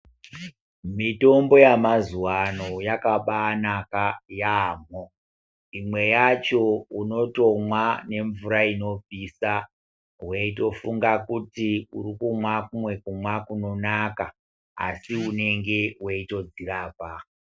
Mitombo yemazuva ano yakabanaka yambo imwe yacho unotomwa nemvura inopisa weitofunga kuti uri kumwa kumwe kumwa kunonaka asi unenge weitozvirapa